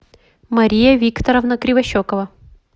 мария викторовна кривощекова